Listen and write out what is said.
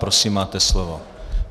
Prosím, máte slovo.